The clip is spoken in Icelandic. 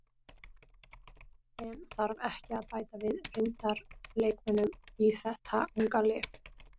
En þarf ekki að bæta við reyndar leikmönnum í þeta unga lið?